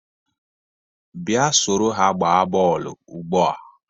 Bịa soro ha gbaa bọọlụ ugbu a